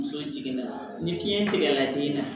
Muso jiginna ni fiɲɛ tigɛla den na